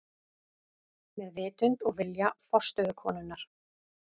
Með vitund og vilja forstöðukonunnar.